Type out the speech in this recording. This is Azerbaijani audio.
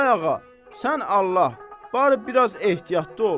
Ay ağa, sən Allah, barı biraz ehtiyatlı ol.